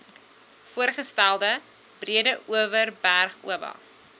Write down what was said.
voorgestelde breedeoverberg oba